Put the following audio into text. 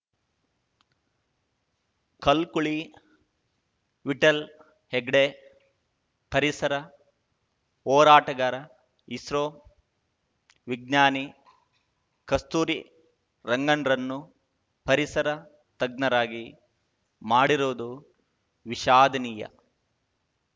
ಕಲ್ಕುಳಿ ವಿಠ್ಠಲ್‌ ಹೆಗ್ಡೆ ಪರಿಸರ ಹೋರಾಟಗಾರ ಇಸ್ರೋ ವಿಜ್ಞಾನಿ ಕಸ್ತೂರಿ ರಂಗನ್‌ರನ್ನು ಪರಿಸರ ತಜ್ಞರಾಗಿ ಮಾಡಿರುವುದು ವಿಷಾದನೀಯ